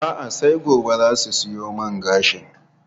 A'a, sai gobe za su siyo man gashin.